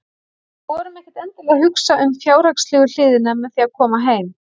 Við vorum ekkert endilega að hugsa um fjárhagslegu hliðina með því að koma heim.